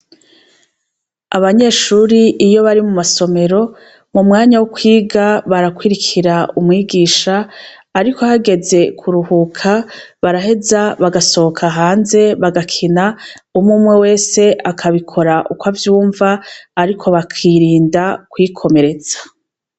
Abanyeshuri iyo bari mu masomero mu mwanya wo kwiga barakurikira umwigisha ariko hageze kuruhuka baraheza bagasohoka hanze bagakina umwe umwe wese akabikora uko avyumva ariko bakirinda kwikomeretsa.